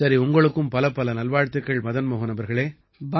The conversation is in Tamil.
சரி உங்களுக்குப் பலப்பல நல்வாழ்த்துக்கள் மதன் மோஹன் அவர்களே